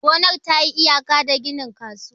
gonar ta yi iyaka da ginin kasuwa.